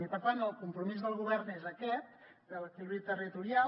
i per tant el compromís del govern és aquest el de l’equilibri territorial